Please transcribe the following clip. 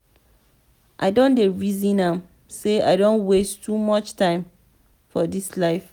i don dey resin am sey i don waste too much time for dis life.